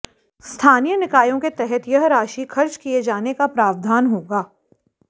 स्थानीय निकायों के तहत यह राशि खर्च किए जाने का प्रावधान होगा